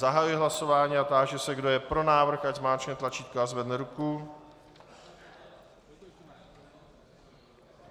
Zahajuji hlasování a táži se, kdo je pro návrh, ať zmáčkne tlačítko a zvedne ruku.